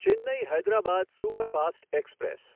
Chennai Hyderabad superfast express